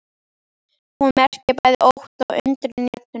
Hún merkir bæði ótta og undrun í röddinni.